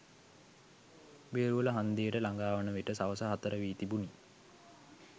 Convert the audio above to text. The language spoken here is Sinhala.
බේරුවල හංදියට ලඟාවන විට සවස හතර වී තිබුණි.